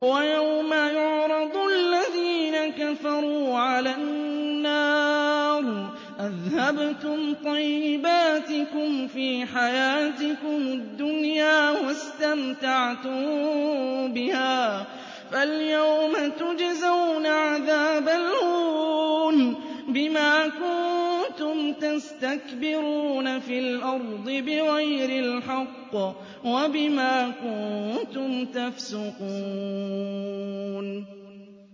وَيَوْمَ يُعْرَضُ الَّذِينَ كَفَرُوا عَلَى النَّارِ أَذْهَبْتُمْ طَيِّبَاتِكُمْ فِي حَيَاتِكُمُ الدُّنْيَا وَاسْتَمْتَعْتُم بِهَا فَالْيَوْمَ تُجْزَوْنَ عَذَابَ الْهُونِ بِمَا كُنتُمْ تَسْتَكْبِرُونَ فِي الْأَرْضِ بِغَيْرِ الْحَقِّ وَبِمَا كُنتُمْ تَفْسُقُونَ